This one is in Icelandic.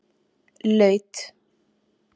Laut